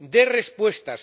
Dé respuestas.